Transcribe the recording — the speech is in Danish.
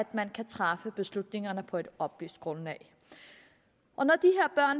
man kan træffe beslutningerne på et oplyst grundlag